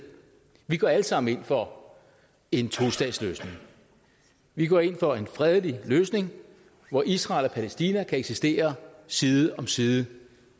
vi går alle sammen ind for en tostatsløsning vi går ind for en fredelig løsning hvor israel og palæstina kan eksistere side om side